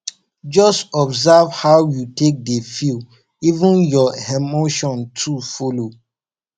jus observe how yu take dey feel even yur emotion too follow